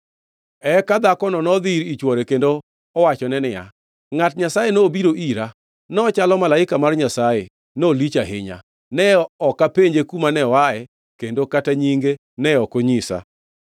Eka dhakono nodhi ir chwore kendo owachone niya, “Ngʼat Nyasaye nobiro ira. Nochalo malaika mar Nyasaye, nolich ahinya. Ne ok apenje kuma ne oaye, kendo kata nyinge ne ok onyisa.